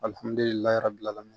Alihamdullilaye bilalaw ma